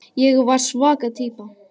Ég var svaka týpa.